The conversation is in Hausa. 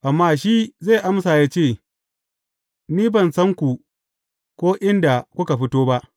Amma shi zai amma ya ce, Ni ban san ku, ko inda kuka fito ba.’